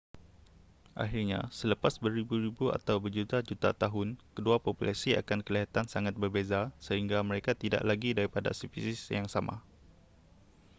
pakhirnya selepas beribu-ribu atau berjuta-juta tahun kedua populasi akan kelihatan sangat berbeza sehingga mereka tidak lagi daripada spesies yang sama